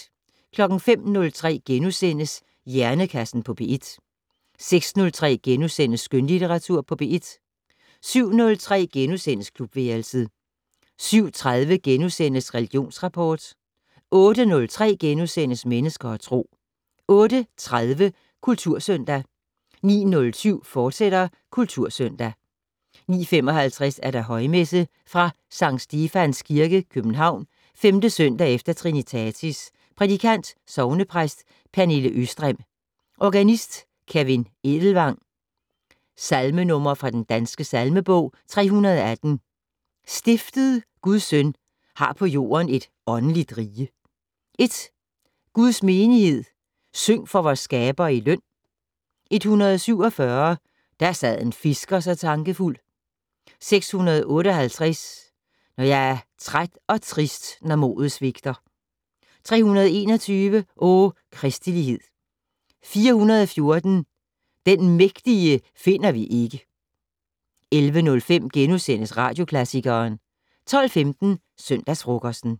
05:03: Hjernekassen på P1 * 06:03: Skønlitteratur på P1 * 07:03: Klubværelset * 07:30: Religionsrapport * 08:03: Mennesker og Tro * 08:30: Kultursøndag 09:07: Kultursøndag, fortsat 09:55: Højmesse - Fra Skt. Stefans Kirke, København. 5. søndag efter trinitatis. Prædikant: sognepræst Pernille Østrem. Organist: Kevin Edelvang. Salmenumre fra den danske salmebog: 318 "Stiftet Guds Søn har på jorden et åndeligt rige". 1 "Guds menighed, syng for vor skaber i løn". 147 "Der sad en fisker så tankefuld". 658 "Når jeg er træt og trist, når modet svigter". 321 "O kristelighed". 414 "Den Mægtige finder vi ikke". 11:05: Radioklassikeren * 12:15: Søndagsfrokosten